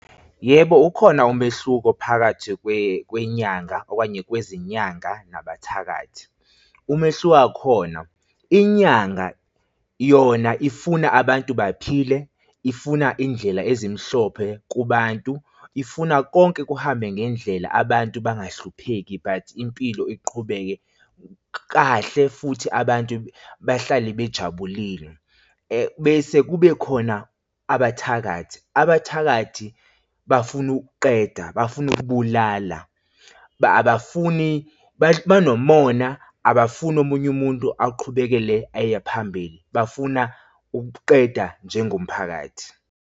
Yebo, ukhona umehluko phakathi kwenyanga okanye kwezinyanga nabathakathi. Umehluko wakhona, inyanga yona ifuna abantu baphile ifuna indlela ezimhlophe kubantu, ifuna konke kuhambe ngendlela abantu bangahlupheki but impilo iqhubeke kahle futhi abantu bahlale bejabulile. bese kube khona abathakathi. Abathakathi bafuna ukuqeda bafuna ukubulala abafuni banomona abafuni omunye umuntu aqhubekele aye phambili bafuna ukuqeda njengomphakathi.